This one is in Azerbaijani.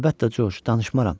Əlbəttə, Corc, danışmaram.